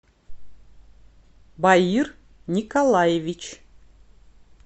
баир николаевич